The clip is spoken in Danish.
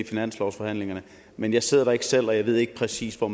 finanslovsforhandlingerne men jeg sidder der ikke selv og jeg ved ikke præcis hvor